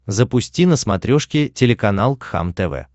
запусти на смотрешке телеканал кхлм тв